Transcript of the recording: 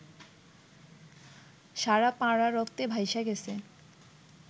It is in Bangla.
সারা পাড়া রক্তে ভাইসা গেছে